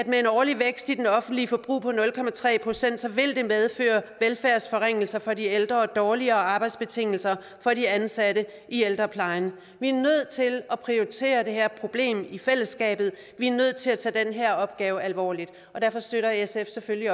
med en årlig vækst i det offentlige forbrug på nul procent vil medføre velfærdsforringelser for de ældre og dårligere arbejdsbetingelser for de ansatte i ældreplejen vi er nødt til at prioritere det her problem i fællesskabet vi er nødt til at tage den her opgave alvorligt derfor støtter sf selvfølgelig